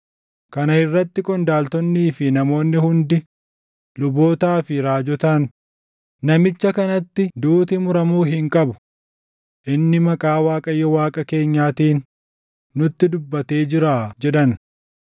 Kana irratti qondaaltonnii fi namoonni hundi, lubootaa fi raajotaan, “Namicha kanatti duuti muramuu hin qabu! Inni maqaa Waaqayyo Waaqa keenyaatiin nutti dubbatee jiraa” jedhan.